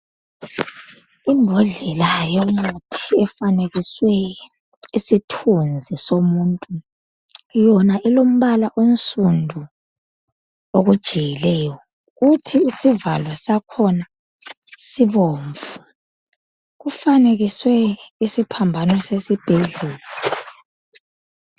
Imbodlela yomuthi efanakiswe isithunzi somuntu yona ilombala onsundu okujiyileyo kuthi isivalo sakhona sibomvu kufanekiswe isiphambano sesibhedlela.